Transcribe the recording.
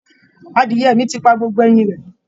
Adiẹ̀ mi ti pa gbogbo ẹyin rẹ̀